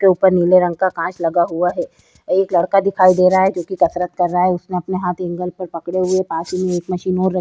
के उपर नीले रंग की कांच लगा हुआ है। एक लड़का दिखाई दे रहा है जोकि कसरत कर रहा है उसने अपने हाथ एंगल पर पकडे हुए है पास ही में एक मशीन और र --